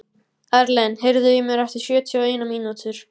Erlen, heyrðu í mér eftir sjötíu og eina mínútur.